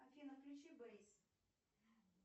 афина включи бэйс